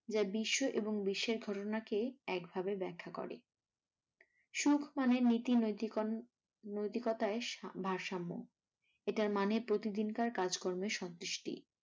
যা বিশ্ব এবং বিশ্বের ঘটনাকে একভাবে ব্যাখ্যা করে। সুখ মানে নীতি নৈতি নৈতিকতায় ভারসাম্য এটার মানে প্রতিদিনকার কাজকর্মের সন্তুষ্টি ।